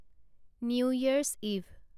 new Year's eve